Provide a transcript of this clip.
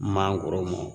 Maakɔrɔw